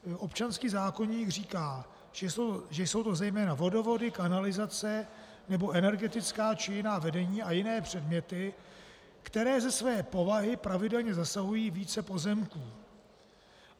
Občanský zákoník říká, že jsou to zejména vodovody, kanalizace nebo energetická či jiná vedení a jiné předměty, které ze své povahy pravidelně zasahují více pozemků.